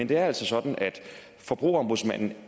det er altså sådan at forbrugerombudsmanden